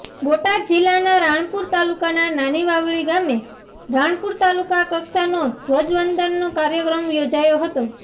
બોટાદ જીલ્લાના રાણપુર તાલુકાના નાનીવાવડી ગામે રાણપુર તાલુકા કક્ષા નો ધ્વજવંદન નો કાર્યક્રમ યોજાયો હતો